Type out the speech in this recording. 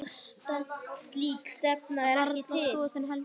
Það stenst varla skoðun heldur.